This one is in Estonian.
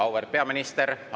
Auväärt peaminister!